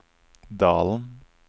Dalen